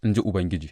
in ji Ubangiji.